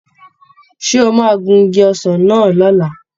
Ṣé o máa gun igi ọsàn náà lọ̀la?